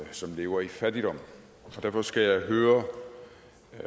som lever i fattigdom så derfor skal jeg høre